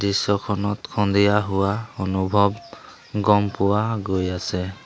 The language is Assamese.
দৃশ্যখনত সন্ধিয়া হোৱা অনুভৱ গম পোৱা গৈ আছে।